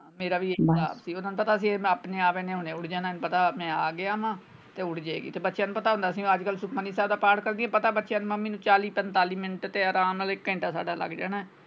ਮੇਰਾ ਵੀ ਇਹੀ ਸਾਬ ਸੀ ਓਹਨਾ ਨੂੰ ਪਤਾ ਸੀ ਇਹ ਆਪਣੇ ਆਪ ਇਹਨੇ ਹੁਣੇ ਉੱਠ ਜਾਣਾ ਪਤਾ ਮੈਂ ਆ ਗਿਆਂ ਵਾਂ ਤੇ ਉੱਠ ਜਾਏਗੀ ਬੱਚਿਆਂ ਨੂੰ ਪਤਾ ਹੁੰਦਾ ਸੀ ਮੈਂ ਅਜਕਲ ਸੁਖਮਨੀ ਸਾਹਿਬ ਦਾ ਪਾਠ ਕਰਦੀ ਪਤਾ ਬੱਚਿਆਂ ਨੂੰ ਕਿ ਮੰਮੀ ਨੂੰ ਚਾਲੀ ਪੰਤਾਲੀ ਮਿੰਟ ਆਰਾਮ ਨਾਲ ਇੱਕ ਘੈਂਟਾ ਸਾਡਾ ਲੱਗ ਜਾਣਾ ਹੈ।